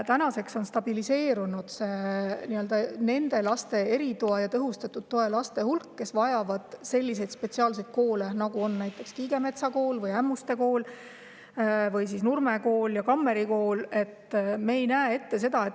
Tänaseks on nende laste, kes vajavad erituge või tõhustatud tuge ja selliseid spetsiaalseid koole, nagu on näiteks Kiigemetsa Kool, Ämmuste Kool, Nurme Kool ja Kammeri Kool, stabiliseerunud.